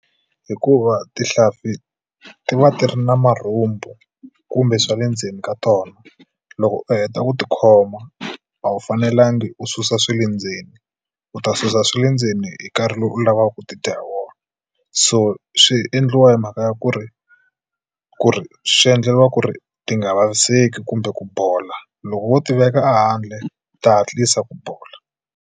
Hikuva tihlampfi ti va ti ri na marhumbu kumbe swa le ndzeni ka tona loko u heta ku tikhoma a wu fanelangi u susa swa le ndzeni u ta susa swa le ndzeni ka karhi lowu u lavaka ku tidya hi wona so swi endliwa hi mhaka ya ku ri ku ri swi endleriwa ku ri ti nga vaviseki kumbe ku bola loko wo tiveka ehandle ta hatlisa ku bola.